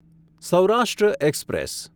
Saurashtra express